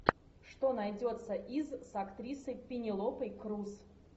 что найдется из с актрисой пенелопой крус